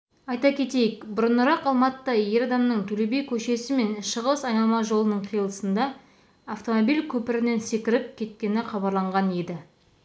айта кетейік бұрынырақ алматыда ер адамның төле би көшесі мен шығыс айналма жолының қиылысында автомобиль көпірінен секіріп кеткені хабарланған еді